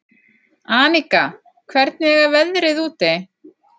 Aníka, hvernig er veðrið úti?